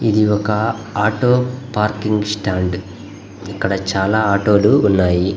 ఇది ఒక auto parking stand . ఇక్కడ చాలా ఆటో లు ఉన్నాయి.